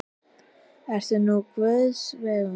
Ert nú á guðs vegum.